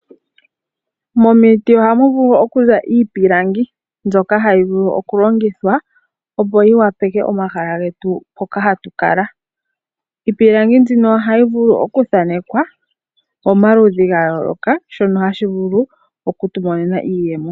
Momiti ohamu vulu okuza iipilangi mbyoka hayi vulu okulongithwa opo yi opaleke omahala getu hoka hatu kala. Iipilangi mbyino ohayi vulu okuthanekwa momaludhi gayooloka shono hashi vulu okutu monena iiyemo.